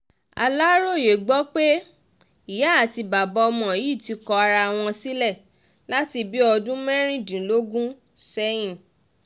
aláròye gbọ́ pé ìyá àti bàbá ọmọ yìí ti kọ ara wọn sílẹ̀ láti bíi ọdún mẹ́rìndínlógún sẹ́yìn